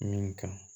Min kan